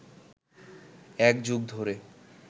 এক যুগ ধরে